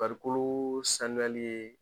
Farikoloo sanuyali ye